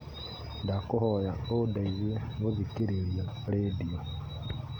ndakũhoya ũndeithie gũthikĩrĩria rĩndiũ